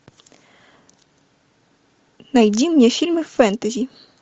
найди мне фильмы фэнтези